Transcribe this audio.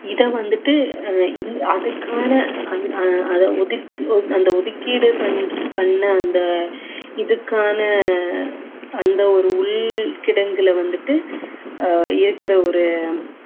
இதை வந்துட்டு அஹ் இ~ அதுக்கான அந்த ஒதுக்கீடு பண்~ பண்ண அந்த இதுக்கான அந்த ஒரு உள்கிடங்குல வந்துட்டு அஹ் இருக்குற ஒரு